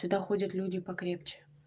туда ходят люди покрепче